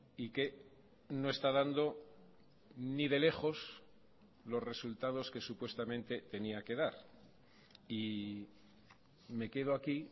y que no está dando ni de lejos los resultados que supuestamente tenía que dar y me quedo aquí